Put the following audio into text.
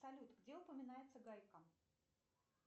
салют где упоминается гайка